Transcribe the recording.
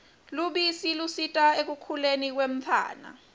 lubisi lusita ekukhuleni kwemtfwana